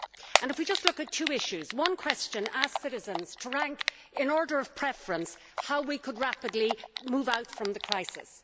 To focus on just two issues, one question asked citizens to rank in order of preference how we could rapidly move out from the crisis.